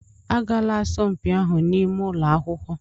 Agaala asọmpi ahụ n'ime ụlọ akwụkwọ!